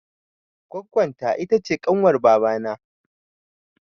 Goggon ta ita ce kanwar baba na